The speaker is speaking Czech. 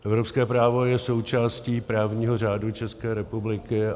Evropské právo je součástí právního řádu České republiky.